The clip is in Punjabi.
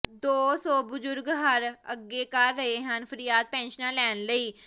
ਦੋ ਸੌ ਬਜ਼ੁਰਗ ਹਰ ਅੱਗੇ ਕਰ ਰਹੇ ਹਨ ਫਰਿਆਦ ਪੈਨਸ਼ਨਾਂ ਲੈਣ ਲਈ